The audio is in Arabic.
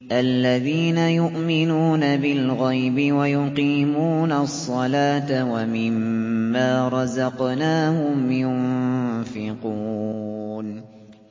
الَّذِينَ يُؤْمِنُونَ بِالْغَيْبِ وَيُقِيمُونَ الصَّلَاةَ وَمِمَّا رَزَقْنَاهُمْ يُنفِقُونَ